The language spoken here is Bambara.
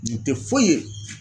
Nin te foyi ye